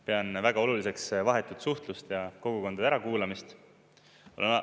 Pean väga oluliseks vahetut suhtlust ja kogukondade ärakuulamist.